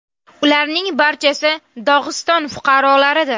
Ularning barchasi Dog‘iston fuqarolaridir.